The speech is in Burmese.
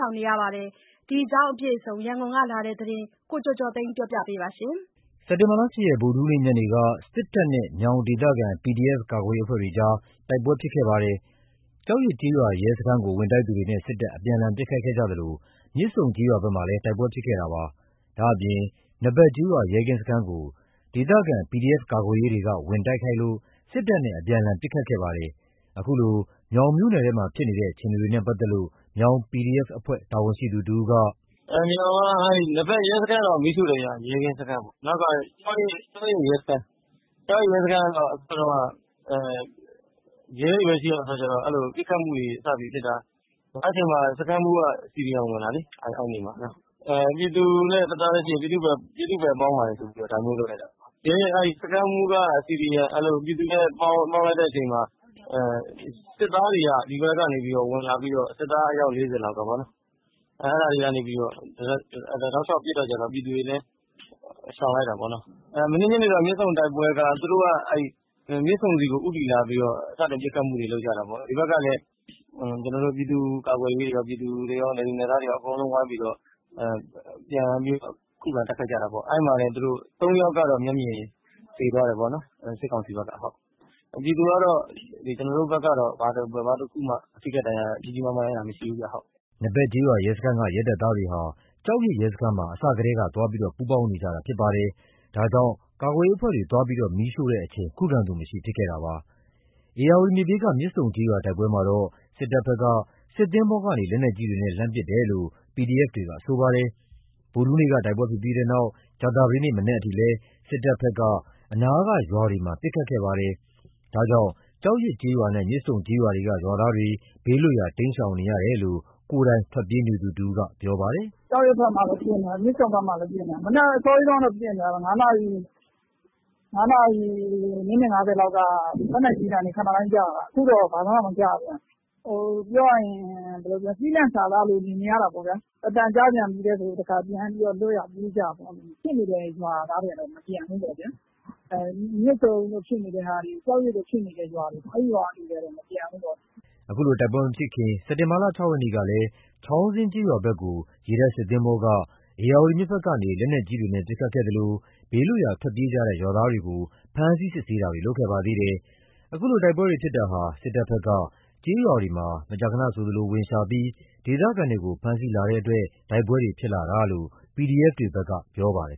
ောင်နေကြရပါတယ်။ ဒီအကြောင်းအပြည့်အစုံ ရန်ကုန်ကလာတဲ့ သတင်းကို ကိုကျော်ကျော်သိန်း ကပြောပြပါမယ်။ စက်တင်ဘာ ၈ ရက် ဗုဒ္ဓဟူးနေ့ညနေက စစ်ကောင်စီတပ်တွေနဲ့ မြောင်ဒေသခံ ကာကွယ်ရေး PDF အဖွဲ့တွေ တိုက်ပွဲတွေဖြစ်ပွားခဲ့ပါတယ်။ ကျောက်ရစ်ကျေးရွာ ရဲစခန်းကို ဝင်တိုက်သူတွေနဲ့ စစ်တပ်အပြန်အလှန်ပစ်ခတ်ခဲ့ကြသလို မြစ်ဆုံကျေးရွာဘက်မှာလည်း တိုက်ပွဲတွေ ဖြစ်ခဲ့တာပါ။ ဒါ့အပြင် နဘက်ကျေးရွာ ရဲကင်းစခန်းကို ဒေသခံ ကာကွယ်ရေး PDF တွေဘက်က ဝင်ရောက်တိုက်ခိုက်ခဲ့လို့ စစ်တပ်နဲ့ အပြန်အလှန် ပစ်ခတ်မှုတွေ ဖြစ်ခဲ့ပါတယ်။ ခုလို မြောင်မြို့နယ်ထဲမှာ ဖြစ်နေတဲ့ အခြေအနေနဲ့ပါတ်သက်လို့ မြောင် PDF က တာဝန်ရှိသူ တဦးက “မြောင်က နဘက်ရဲစခန်းတော့ မီးရှို့တယ်ခင်ဗျ။ ရဲကင်းစခန်းပေါ့။ နောက်ခါ ကျောက်ရစ်ရဲစခန်း ကျောက်ရစ် ရဲစခန်းက ရဲတွေပဲ ရှိတဲ့ အခါကျတော့ ပစ်ခတ်မှုတွေ စပြီးဖြစ်တာ။ အဲ့အချိန်မှာ စခန်းမှူးက CDM ဝင်တာလေ။ ပြည်သူနဲ့တသားတည်းရှိတယ်။ ပြည်သူနဲ့ပူးပေါင်းပါတယ်ဆိုပြီးလုပ်တာလေ။ စခန်းမှူးက ပြည်သူနဲ့ပေါင်းလိုက်တဲ့အချိန်မှာ စစ်သားတွေက ဒီဘက်ကနေဝင်လာပြီးတော့ စစ်သား အယောက် ၄၀ လောက်ကပေါ့နော်။ အဲ့ဒါတွေကနေ တောက်လျှောက်ပစ်တော့ ပြည်သူတွေလည်း ရှောင်လိုက်တာပေါ့နော်။ မနေ့ညနေ မြစ်ဆုံတိုက်ပွဲက သူတို့က မြစ်ဆုံဆီကို ဦးတည်လာပြီးတော့ စတင်ပစ်ခတ်မှုတွေ လုပ်ကြတာပေါ့။ ဒီဘက်ကလည်း ပြည်သူ့ကာကွယ်ရေးတွေကော ပြည်သူတွေကော နယ်သူနယ်သားတွေကော အကုန်ဝိုင်းပြီးတော့ ပြန်ပြီး ခုခံတိုက်ခိုက်ကြတာပေါ့။ အဲ့မှာတင် ၃ ယောက်က မျက်မြင်သေသွားတယ်။ စစ်ကောင်စီဘက်ကပေါ့။ ပြည်သူဘက်ကတော့ ဘာမှ ကြီးကြီးမားမား ထိခိုက်တာမရှိဘူးပေါ့။” နဘက်ကျေးရွာရဲစခန်းက ရဲတပ်သားတွေဟာ ကျောက်ရစ်ရဲစခန်းမှာ အစထဲက သွားပူးပေါင်းနေကြတာဖြစ်ပါတယ်။ ဒါကြောင့် ကာကွယ်ရေးအဖွ့ဲတွေ သွားရောက် မီးရှို့စဉ် ခုခံသူမရှိဖြစ်တာပါ။ ဧရာဝတီမြစ်ဘေးက မြစ်ဆုံကျေးရွာ တိုက်ပွဲမှာတော့ စစ်ကောင်စီဘက်က စစ်သင်္ဘောကနေ လက်နက်ကြီးတွေနဲ့ လှမ်းပစ်တယ်လို့ PDF တွေဘက်က ဆိုပါတယ်။ ဗုဒ္ဓဟူးနေ့က တိုက်ပွဲဖြစ်ပြီးနောက် ကြာသပတေးနေ့မနက်အထိလည်း စစ်ကောင်စီဘက်က အနားက ရွာတွေအပေါ် ပစ်ခတ်မှုတွေရှိခဲ့ပါတယ်။ ဒါကြောင့် ကျောက်ရစ်ကျေးရွာနဲ့ မြစ်ဆုံကျေးရွာတို့က ရွာသားတွေ ဘေးလွတ်ရာ တိမ်းရှောင်နေရတယ်လို့ ကိုယ်တိုင်ထွက်ပြေးနေသူကပြောပါတယ်။ “ကျောက်ရစ်ဘက်မှာပစ်နေတယ်။ မြစ်ဆုံဘက်မှာပစ်နေတယ်။ မနက်အစောကြီး ၅ နာရီ မိနစ် ၅၀ လောက်က လက်နက်ကြီးသံတွေ ခဏတိုင်းကြားရတယ်။ အခုတော့ဘာမှမကြားရသေးဘူး။ ပြောရရင် ကျီးလန့်စာစားလိုနေနေရတာပေါ့။ အသံကြားပြန်ပြီဆို လွတ်ရာပြေးကြရတာပေါ့။ ဖြစ်နေတဲ့ ရွာသားတွေက မပြန်ဘူး။ မြစ်ဆုံတို့ဖြစ်နေတာတွေ ကျောက်ရစ်တို့ဖြစ်နေတာတွေ အဲ့ရွာတွေက မပြန်ဘူးပေါ့။” အခုလို တိုက်ပွဲမဖြစ်ပွားမှီ စက်တင်ဘာ ၆ ရက်ကလည်း ချောင်းဇင်းကျေးရွာဘက်ကို ရေတပ်သင်္ဘောက ဧရာဝတီမြစ်ဘက်ကနေ လက်နက်ကြီးတွေနဲ့ ပစ်ခတ်ခဲ့သလို ဘေးလွတ်ရာ ထွက်ပြေးကြတဲ့ ရွာသားတွေကို ဖမ်းဆီးစစ်ဆေးတာတွေ လုပ်ခဲ့ပါသေးတယ်။ အခုလို တိုက်ပွဲတွေဖြစ်ပွားတာဟာ စစ်ကောင်စီဘက်က ကျေးရွာတွေမှာ မကြာခဏဆိုသလို ဝင်ရောက်ရှာဖွေတာတွေလုပ်ပြီး ဒေသခံတွေကို ဖမ်းဆီးလာတဲ့အတွက် တိုက်ပွဲတွေဖြစ်ပွားလာတာလို့ PDF တွေဘက်က ပြောပါတယ်